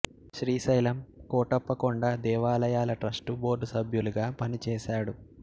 శ్రీశైలం కోటప్ప కొండ దేవాలయాల trust board సభ్యులుగా పనిచేశాడు